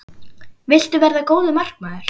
Viltu verða góður markmaður?